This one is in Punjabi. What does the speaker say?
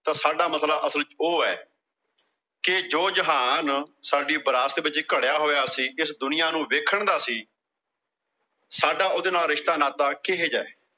ਤਾਂ ਸਾਡਾ ਮਸਲਾ ਅਸਲ ਚ ਉਹ ਆ ਕਿ ਜੋ ਜਹਾਨ ਸਾਡੀ ਵਿਰਾਸਤ ਵਿੱਚ ਘੜਿਆ ਹੋਇਆ ਸੀ, ਇਸ ਦੁਨੀਆਂ ਨੂੰ ਵੇਖਣ ਦਾ ਸੀ ਸਾਡਾ ਉਹਦੇ ਨਾਲ ਰਿਸ਼ਤਾ-ਨਾਤਾ ਕਿਹੋ ਜਿਹਾ